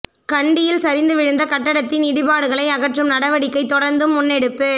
கண்டியில் சரிந்து விழுந்த கட்டடத்தின் இடிபாடுகளை அகற்றும் நடவடிக்கை தொடர்ந்தும் முன்னெடுப்பு